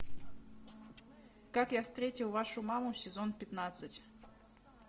как я встретил вашу маму сезон пятнадцать